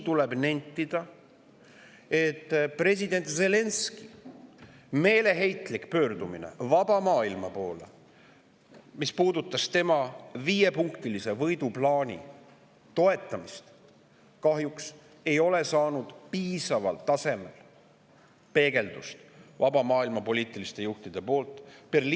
Tuleb nentida, et president Zelenskõi meeleheitlik pöördumine vaba maailma poole, mis puudutas tema viiepunktilise võiduplaani toetamist, ei ole kahjuks saanud vaba maailma poliitiliste juhtide poolt piisaval tasemel peegeldust.